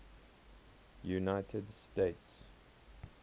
united states